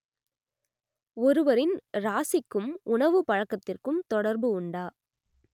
ஒருவரின் ராசிக்கும் உணவுப் பழக்கத்திற்கும் தொடர்பு உண்டா